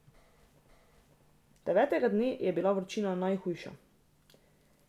Devetega dne je bila vročina najhujša.